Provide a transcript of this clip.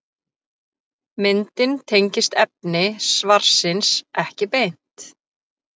Myndin tengist efni svarsins ekki beint.